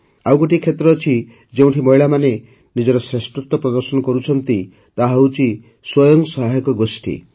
ଆଉ ଗୋଟିଏ କ୍ଷେତ୍ର ଅଛି ଯେଉଁଠି ମହିଳାମାନେ ନିଜର ଶ୍ରେଷ୍ଠତ୍ୱ ପ୍ରଦର୍ଶନ କରିଛନ୍ତି ତାହା ହେଉଛି ସ୍ୱୟଂ ସହାୟକ ଗୋଷ୍ଠୀ